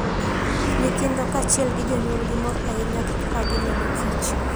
Nyithindo kaachiel gi jonyuolgi mor ahinya gi kaka ginenoKich.